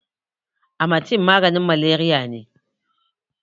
Amatem maganin Malariya ne.